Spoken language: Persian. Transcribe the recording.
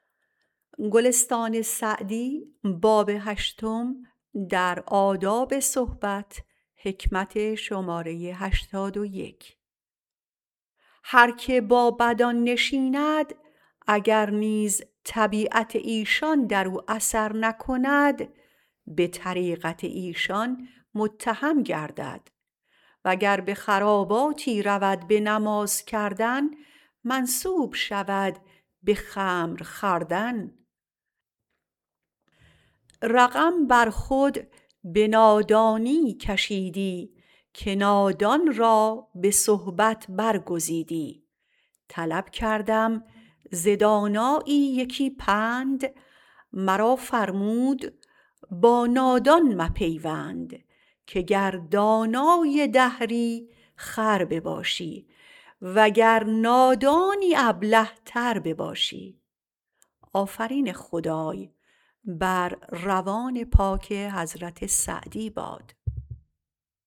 هر که با بدان نشیند اگر نیز طبیعت ایشان در او اثر نکند به طریقت ایشان متهم گردد و گر به خراباتی رود به نماز کردن منسوب شود به خمر خوردن رقم بر خود به نادانی کشیدی که نادان را به صحبت برگزیدی طلب کردم ز دانایی یکی پند مرا فرمود با نادان مپیوند که گر دانای دهری خر بباشی وگر نادانی ابله تر بباشی